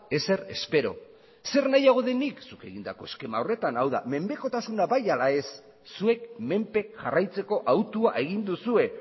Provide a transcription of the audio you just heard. ezer espero zer nahiago dut nik zuk egindako eskema horretan hau da menpekotasuna bai ala ez zuek menpe jarraitzeko autua egin duzue